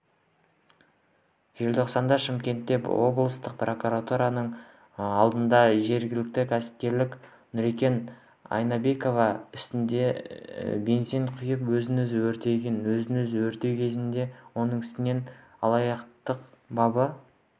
желтоқсанда шымкентте облыстық прокуратура алдында жергілікті кәсіпкер нұркен айнабеков үстіне бензин құйып өзін-өзі өртеген өз-өзін өртеу кезінде оның үстінен алаяқтық бабы